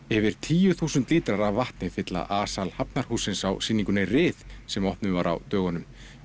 yfir tíu þúsund lítrar af vatni fylla a sal Hafnarhússins á sýningunni ryð sem opnuð var á dögunum